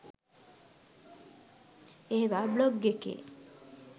ඒවා බ්ලොග් එකේ